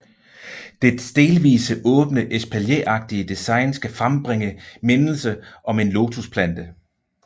Dets delvis åbne espalieragtige design skal frembringe mindelse om en lotusplante